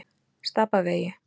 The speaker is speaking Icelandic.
Stapavegi